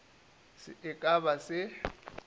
se e ka ba se